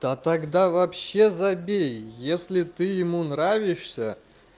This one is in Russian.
то тогда вообще забей если ты ему нравишься